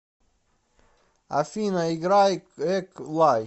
афина играй эк лай